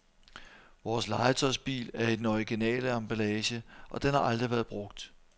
Vores legetøjsbil er i den originale emballage, og den har aldrig været brugt.